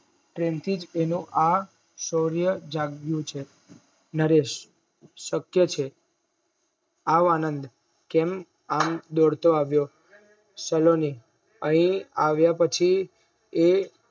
પ્રેમ થીજ આ શૌર્ય જાગવું છે નરેશ સત્ય છે આવ આનંદ કેમ આમ દોડતો આવ્યો સલોની અરે આવ્યા પછી એ